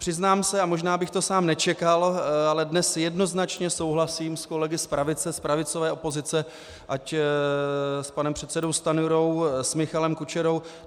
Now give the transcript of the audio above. Přiznám se, a možná bych to sám nečekal, ale dnes jednoznačně souhlasím s kolegy z pravice, z pravicové opozice, ať s panem předsedou Stanjurou, s Michalem Kučerou.